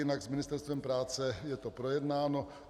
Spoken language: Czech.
Jinak s Ministerstvem práce je to projednáno.